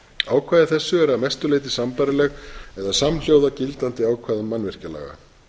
ákvæði þessi er að mestu leyti sambærileg eða samhljóða gildandi ákvæðum mannvirkjalaga